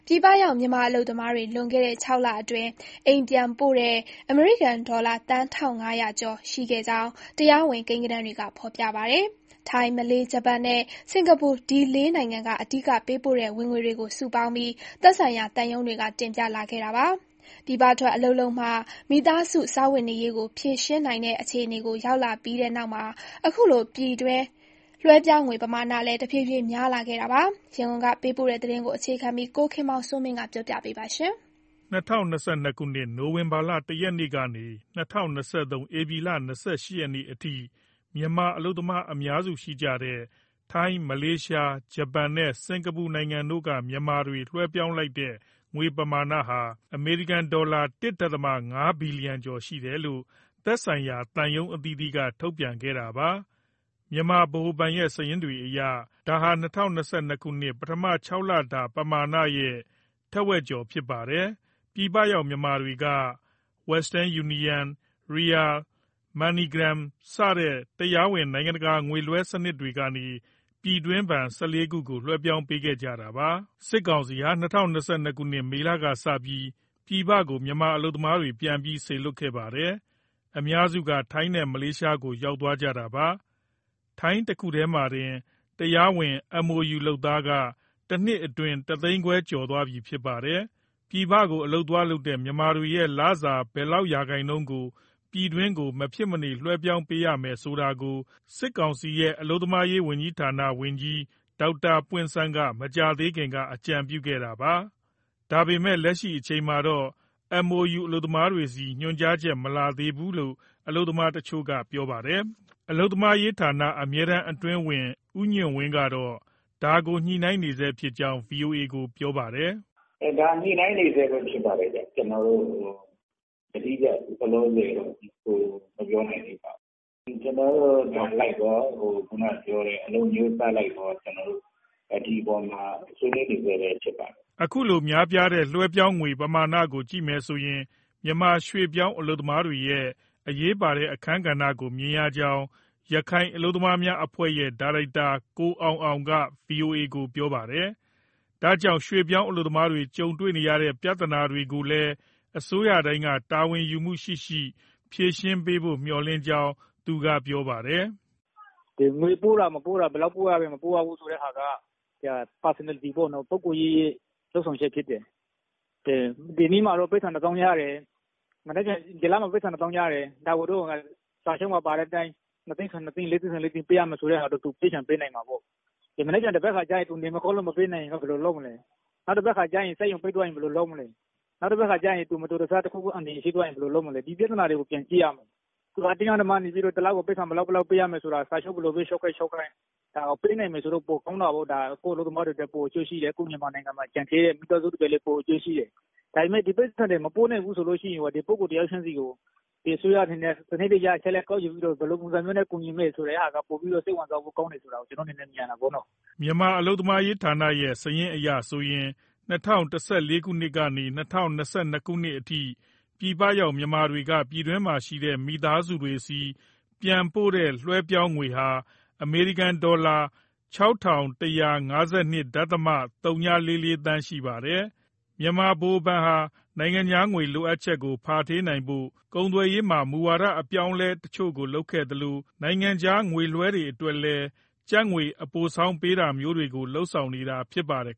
ြည်ပရောက် မြန်မာအလုပ်သမားတွေ လွန်ခဲ့တဲ့ ၆ လအတွင်း အိမ်ပြန်ပို့တဲ့ အမေရိကန်ဒေါ်လာ သန်း ၁,၅၀၀ကျော် ရှိခဲ့ကြောင်း တရားဝင် ကိန်းဂဏန်းတွေက ဖော်ပြပါတယ်။ ထိုင်း၊ မလေးရှား၊ ဂျပန်နဲ့ စင်္ကာပူ လေးနိုင်ငံက အဓိကပေးပို့တဲ့ ဝင်ငွေတွေကို စုပေါင်းပြီး သက်ဆိုင်ရာသံရုံးတွေက တင်ပြလာခဲ့တာပါ။ ပြည်ပထွက် အလုပ်လုပ်မှ မိသားစု စားဝတ်နေရေးကို ဖြေရှင်းနိုင်တဲ့အခြေကို ရောက်လာပြီးတဲ့နောက်မှာ အခုလို ပြည်တွင်း လွှဲပြောင်းငွေ ပမာမဏလည်း တဖြည်းဖြည်း များလာခဲ့တာပါ။ ရန်ကုန်ပေးပို့တဲ့ သတင်းကိုအခြေခံပြီး ကိုခင်မောင်စိုးမင်းက ပြောပြမှာပါ။ ၂၀၂၂ နိုဝင်ဘာ ၁ရက်ကနေ၊ ၂၀၂၃ ဧပြီလ ၂၈ရက်အထိ မြန်မာအလုပ်သမား အများစုရှိတဲ့ ထိုင်း၊ မလေးရှား၊ ဂျပန်နဲ့ စင်္ကာပူနိုင်ငံတို့က မြန်မာတွေ လွှဲပြောင်းလိုက်တဲ့ ငွေပမာဏဟာ အမေရိကန်ဒေါ်လာ ၁.၅ဘီလီယံကျော် ရှိတယ်လို့ သက်ဆိုင်ရာ သံရုံးအသီးသီးက ထုတ်ပြန်ခဲ့တာပါ။ မြန်မာဗဟိုဘဏ်ရဲ့ စာရင်းတွေအရ ဒါဟာ ၂၀၂၂ ပထမ ခြောက်လတာ ပမာဏရဲ့ ထက်ဝက်ကျော် ဖြစ်ပါတယ်။ ပြည်ပရောက် မြန်မာတွေက Western Union ၊ Ria ၊ Money Gram စတဲ့ တရားဝင် နိုင်ငံတကာ ငွေလွှဲစနစ်တွေကနေ ပြည်တွင်းဘဏ် ၁၄ခုကို လွှဲပြောင်းပေးခဲ့ကြတာပါ။ စစ်ကောင်စီဟာ ၂၀၂၂ မေလကစပြီး ပြည်ပကို မြန်မာအလုပ်သမားတွေ ပြန်ပြီးစေလွှတ်ခဲ့ပါတယ်။ အများစုက ထိုင်းနဲ့ မလေးရှားကို ရောက်သွားကြတာပါ။ ထိုင်းတခုတည်းမှာတင် တရားဝင် MoU လုပ်သားက တနှစ်အတွင်း တသိန်းခွဲကျော်သွားပြီ ဖြစ်ပါတယ်။ ပြည်ပကို အလုပ်သွားလုပ်တဲ့ မြန်မာတွေရဲ့လစာ ဘယ်လောက်ရာခိုင်နှုန်းကို ပြည်တွင်းကို မဖြစ်မနေ လွှဲပြောင်းပေးရမယ် ဆိုတာကို စစ်ကောင်စီရဲ့ အလုပ်သမားရေးဝန်ကြီးဌာန ဝန်ကြီး ဒေါက်တာပွင့်ဆန်းက မကြာသေးခင်က အကြံပြုခဲ့ပါတယ်။ ဒါပေမဲ့ လက်ရှိအချိန်အထိတော့ MoU အလုပ်သမားတွေဆီ ညွှန်ကြားချက် မလာသေးဘူးလို့ မြန်မာအလုပ်သမားတချို့က ပြောပါတယ်။ အလုပ်သမားရေးဌာန အမြဲတမ်းအတွင်းဝန် ဦးညွှန့်ဝင်းကတော့ ဒါကို ညှိနှိုင်းနေဆဲဖြစ်ကြောင်း ဗွီအိုအေကို ပြောပါတယ်။ "ဒါ ညှိနှိုင်းနေဆဲပဲ ဖြစ်ပါတယ်ဗျ။ ကျနော်တို့ ယတိပြတ်လောလောဆယ် မပြောနိုင်သေးပါဘူး။ ညှိနှိုင်းနေဆဲဆိုတော့ နိုင်ငံအလိုက်ရော၊ အလုပ် အမျိုးအစားအလိုက်ရော ဒီအပေါ်မှာ ဆွေးနွေးနေဆဲပဲ ဖြစ်ပါတယ်။" အခုလို များပြားတဲ့ လွှဲပြောင်းငွေပမာဏကို ကြည့်မယ်ဆိုရင် မြန်မာရွှေ့ပြောင်း အလုပ်သမားတွေရဲ့ အရေးပါတဲ့ အခန်းကဏ္ဍကို မြင်ရကြောင်း ရခိုင်အလုပ်သမားများအဖွဲ့ရဲ့ ဒါရိုက်တာ ကိုအောင်အောင်က ဗွီအိုအေကို ပြောပါတယ်။ ဒါကြောင့် ရွှေ့ပြောင်းအလုပ်သမားတွေ ကြုံနေရတဲ့ ပြဿနာတွေကိုလည်း အစိုးရတိုင်းက တာဝန်ယူမှုရှိရှိ ဖြေရှင်းပေးရေး မျှော်လင့်ကြောင်း သူက ပြောပါတယ်။ "ငွေပို့တာ၊ မပို့တာ၊ ဘယ်လောက်ပို့ရတယ် ဆိုတဲ့ဟာက ပုဂ္ဂိုလ်ရေး လုပ်ဆောင်ချက်ဖြစ်တယ်။ ဒီလပိုက်ဆံတသောင်းရတယ်၊ ဒါကို စာချုပ်ပါအတိုင်း ၂သိန်းဆို ၂သိန်း၊ ၄သိန်းဆို၄သိန်း ပေးရမယ်ဆိုတဲ့ဟာ သူပေးချင်မှ ပေးနိုင်မှာပေါ့။ မနက်ဖြန်၊ သန်ဘက်ခါ သူနေမကောင်းလို့ မပေးနိုင်ရင် ဘယ်လိုလုပ်မလဲ။ နောက် စက်ရုံပိတ်သွားရင် ဘယ်လိုလုပ်မလဲ။ နောက် သူမတော်တဆ တခုခု အန္တရာယ်ရှိသွားရင် ဘယ်လိုလုပ်မလဲ။ ဒီပြဿနာတွေကို ပြန်ကြည့်ရမယ်။ အတင်းအဓမ္မ တလကို ပိုက်ဆံဘယ်လောက် ပေးရမယ်ဆိုတာ စာချုပ် ဘယ်လိုပဲ ချုပ်ခဲ့ချုပ်ခဲ့၊ ပေးနိုင်ရင်တော့ ပိုကောင်းတာပေါ့။ ကိုယ့်အလုပ်သမားတွေအတွက် ပိုအကျိုးရှိတယ်၊ ကိုယ့်မြန်မာနိုင်ငံမှာ ကျန်ခဲ့တဲ့ မိသားစုတွေလည်း အကျိုးရှိတယ်။ ဒါပေမဲ့ ဒီပိုက်ဆံတွေ မပို့နိုင်ဘူး ဆိုရင်ရော ဒီပုဂ္ဂိုလ် တယောက်ချင်းစီကို အစိုးရအနေနဲ့ အချက်အလက် စနစ်တကျကောက်ယူပြီး ဘယ်လိုပုံမျိုး ကူညီမလဲဆိုတာ ပိုပြီး စိတ်ဝင်စားဖို့ကောင်းတယ် ဆိုတာ ကျနော့အနေနဲ့ မြင်ရတယ်။" မြန်မာအလုပ်သမားရေးဌာနရဲ့ စာရင်းအရဆိုရင် ၂၀၁၄ကနေ ၂၀၂၂ အထိ ပြည်ပရောက်မြန်မာတွေက ပြည်တွင်းမှာရှိတဲ့ မိသားစုတွေဆီ ပြန်ပို့တဲ့ လွှဲပြောင်းငွေဟာ အမေရိကန်ဒေါ်လာ ၆၁၅၂.၀၄၄ သန်းရှိပါတယ်။ မြန်မာဗဟိုဘဏ်ဟာ နိုင်ငံခြားငွေ လိုအပ်ချက်ကို ဖာထေးနိုင်ဖို့ ကုန်သွယ်ရေးမှာ မူဝါဒ အပြောင်းအလဲတချို့ကို လုပ်ခဲ့သလို နိုင်ငံခြားငွေလွှဲတွေ အတွက်လည်း ကျပ်ငွေ အပိုဆောင်းပေးတာမျိုးတွေကို လုပ်ဆောင်နေတာ ဖြစ်ပါတယ်